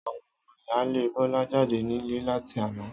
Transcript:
Àwon omo ìyáálé Bólá jáde nílé láti àná